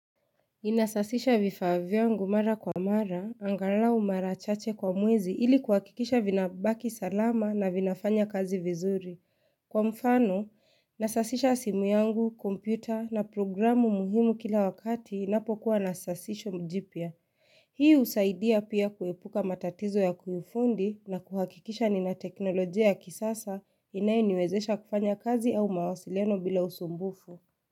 Ninasafisha vifaa vyangu mara kwa mara, angalau mara chache kwa mwezi ili kuhakikisha vinabaki salama na vinafanya kazi vizuri. Kwa mfano, nasafisha simu yangu, kompyuta na programu muhimu kila wakati inapokuwa na safisho jipya. Hii usaidia pia kuepuka matatizo ya kiufundi na kuhakikisha nina teknolojia ya kisasa inayoniwezesha kufanya kazi au mawasiliano bila usumbufu.